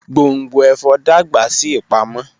Gbongbo ẹfọ dagba si ipamo.